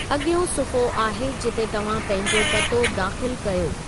अॻियों सुफ़्हो आहे जिते तव्हां पंहिंजो पतो दाख़िलु कयो।